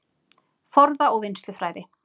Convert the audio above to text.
Forða- og vinnslufræði